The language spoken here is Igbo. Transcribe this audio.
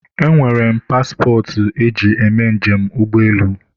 e nwere m pasịpọtụ e ji eme njem ụgbọelu